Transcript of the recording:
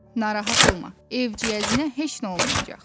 Narahat olma, evciyəzinə heç nə olmayacaq.